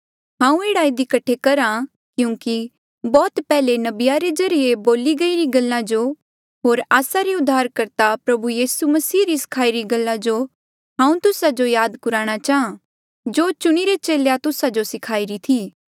हांऊँ एह्ड़ा इधी कठे करहा क्यूंकि बौह्त पैहले नबिया रे ज्रीए बोली गईरी गल्ला जो होर आस्सा रे उद्धारकर्ता प्रभु यीसू मसीह री सखाई री गल्ला जो हांऊँ तुस्सा जो याद कुराणा चाहां जेस जो चुणिरे चेले तुस्सा जो किन्हें सखाईरा था